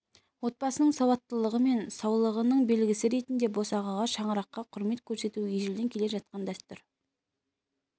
отбасының салауаттылығы мен саулығының белгісі ретінде босағаға шаңыраққа құрмет көрсету ежелден келе жатқан дәстүр